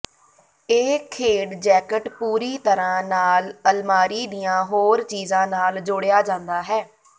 ਇਹ ਖੇਡ ਜੈਕਟ ਪੂਰੀ ਤਰਾਂ ਨਾਲ ਅਲਮਾਰੀ ਦੀਆਂ ਹੋਰ ਚੀਜ਼ਾਂ ਨਾਲ ਜੋੜਿਆ ਜਾਂਦਾ ਹੈ